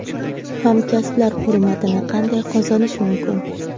Hamkasblar hurmatini qanday qozonish mumkin?.